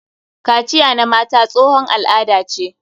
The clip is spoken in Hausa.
Kaciya na mata tsohon al'ada ce.